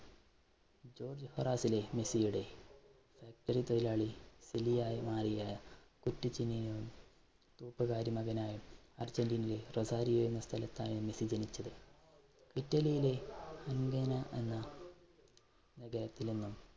തൊഴിലാളി തൂപ്പുകാരി മകനായി അര്‍ജന്റീനയില്‍ റൊസാരിയോ എന്ന സ്ഥലത്ത് ആണ് മെസ്സി ജനിച്ചത്. ഇറ്റലിയിലെ എന്ന